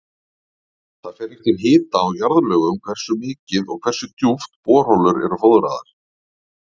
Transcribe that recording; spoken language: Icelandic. Það fer eftir hita og jarðlögum hversu mikið og hversu djúpt borholur eru fóðraðar.